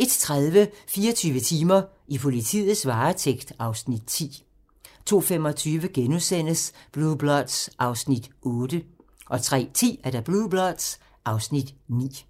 01:30: 24 timer: I politiets varetægt (Afs. 10) 02:25: Blue Bloods (Afs. 8)* 03:10: Blue Bloods (Afs. 9)